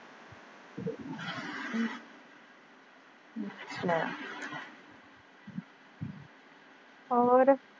ਹੋਰ।